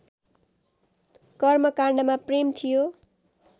कर्मकाण्डमा प्रेम थियो